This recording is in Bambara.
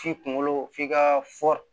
F'i kunkolo f'i ka